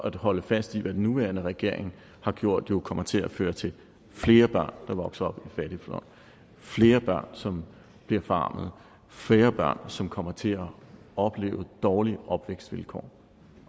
at holde fast i hvad den nuværende regering har gjort jo kommer til at føre til flere børn som vokser op i fattigdom flere børn som bliver forarmet flere børn som kommer til at opleve dårlige opvækstvilkår